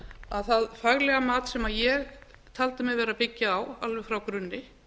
að það faglega mat sem ég taldi mig vera að byggja á alveg frá grunni